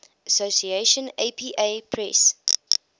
association apa press